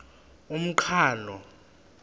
umqhano